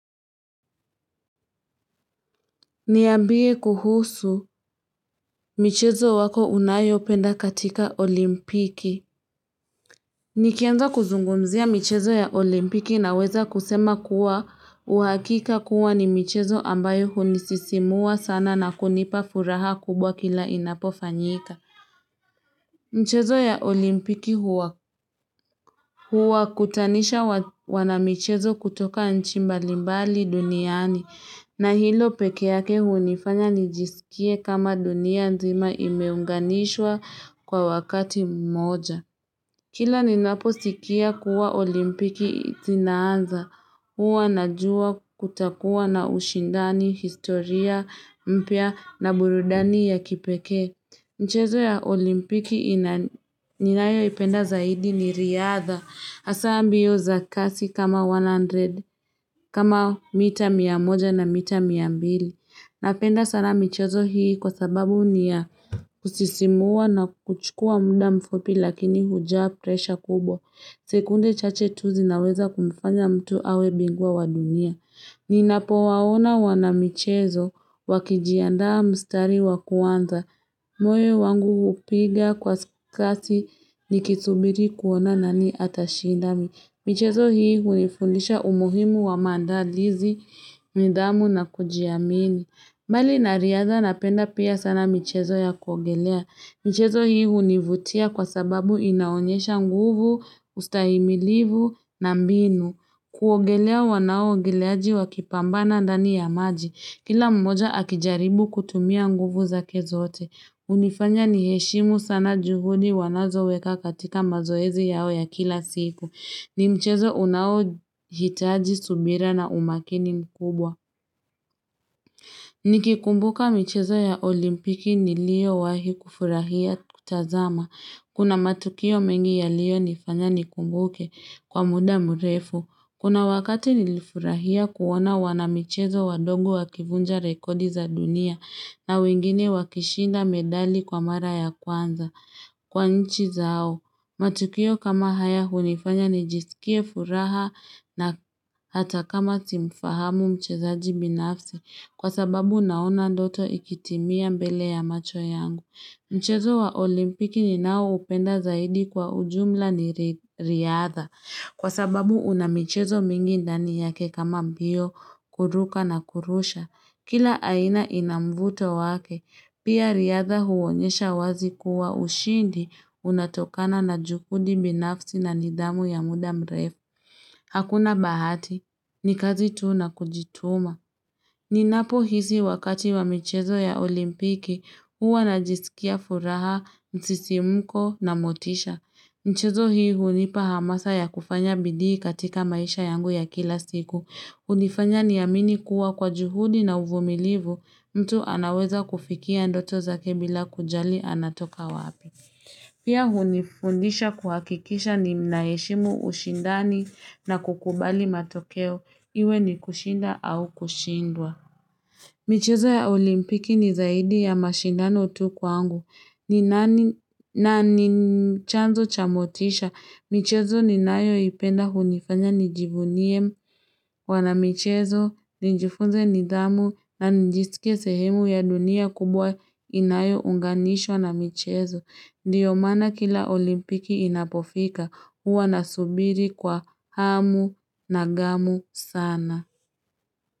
Niambie kuhusu michezo wako unayopenda katika olimpiki. Nikianza kuzungumzia michezo ya olimpiki naweza kusema kuwa uhakika kuwa ni michezo ambayo hunisisimua sana na kunipa furaha kubwa kila inapofanyika. Mchezo ya olimpiki huwa Huwakutanisha wanamichezo kutoka nchi mbali mbali duniani na hilo peke yake hunifanya nijisikie kama dunia nzima imeunganishwa kwa wakati mmoja. Kila ninapo sikia kuwa olimpiki zinaanza huwa najua kutakuwa na ushindani, historia mpya na burudani ya kipekee. Mchezo ya olimpiki ninayo ipenda zaidi ni riadha, hasa ambio za kasi kama 100, kama mita miamoja na mita miambili. Napenda sana mchezo hii kwa sababu ni kusisimua na kuchukua muda mfupi lakini hujaa presha kubwa. Sekunde chache tu zinaweza kumfanya mtu awe binguwa wa dunia. Ninapo waona wana michezo wakijiandaa mstari wakuanza. Moyo wangu hupiga kwa kasi nikisubiri kuona nani atashinda mi. Michezo hii hunifunisha umuhimu wa mandalizi, nidhamu na kujiamini. Mbali na riadha napenda pia sana michezo ya kuogelea. Michezo hii hunivutia kwa sababu inaonyesha nguvu, ustahimilivu na mbinu. Kuogelea wanao ogeleaji wakipambana ndani ya maji. Kila mmoja akijaribu kutumia nguvu zake zote. Unifanya niheshimu sana juhudi wanazo weka katika mazoezi yao ya kila siku. Ni mchezo unao hitaji subira na umakini mkubwa. Nikikumbuka michezo ya olimpiki nilio wahi kufurahia kutazama. Kuna matukio mengi yalio nifanya nikumbuke kwa muda mrefu. Kuna wakati nilifurahia kuona wana michezo wadogo wakivunja rekodi za dunia na wengine wakishinda medali kwa mara ya kwanza. Kwa nchi zao, matukio kama haya hunifanya nijisikie furaha na hata kama simfahamu mchezaji binafsi kwa sababu naona ndoto ikitimia mbele ya macho yangu. Mchezo wa olimpiki ni nao upenda zaidi kwa ujumla ni riadha, kwa sababu una michezo mingi ndani yake kama mbio, kuruka na kurusha. Kila aina ina mvuto wake, pia riadha huonyesha wazi kuwa ushindi unatokana na juhudi binafsi na nidhamu ya muda mrefu. Hakuna bahati, ni kazi tuu na kujituma. Ni napo hisi wakati wa michezo ya olimpiki huwa na jisikia furaha, msisimko na motisha. Mchezo hii hunipa hamasa ya kufanya bidii katika maisha yangu ya kila siku. Hunifanya niamini kuwa kwa juhudi na uvumilivu mtu anaweza kufikia ndoto zakebbila kujali anatoka wapi. Pia hunifundisha kuhakikisha ninaheshimu ushindani na kukubali matokeo, iwe ni kushinda au kushindwa. Michezo ya olimpiki ni zaidi ya mashindano tu kwangu. Ni nani, na ni chanzo cha motisha. Michezo ni nayo ipenda hunifanya nijivunie mwanamichezo, ninjifunze nidhamu, na nijisike sehemu ya dunia kubwa inayo unganishwa na michezo. Ndio maana kila olimpiki inapofika, huwa nasubiri kwa hamu na ghamu sana.